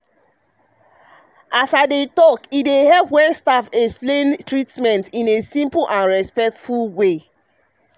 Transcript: as i dey talk e dey help when staff explain treatment in simple and respectful way.